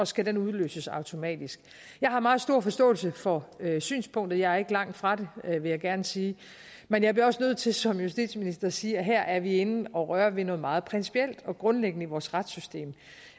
skal den udløses automatisk jeg har meget stor forståelse for synspunktet jeg er ikke langt fra det vil jeg gerne sige men jeg bliver også nødt til som justitsminister at sige at her er vi inde at røre ved noget meget principielt og grundlæggende i vores retssystem